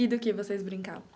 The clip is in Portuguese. E do que vocês brincavam?